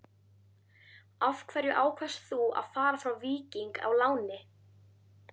Af hverju ákvaðst þú að fara frá Víking á láni?